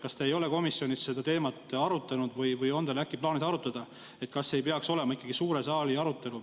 Kas te olete komisjonis seda teemat arutanud või on teil äkki plaanis arutada, kas ei peaks siin olema ikkagi suure saali arutelu?